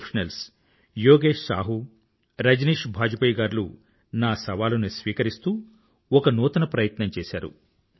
professionals Yogesh Sahu Rajneesh Bajpai గార్లు నా సవాలుని స్వీకరిస్తూ ఒక నూతన ప్రయత్నం చేసారు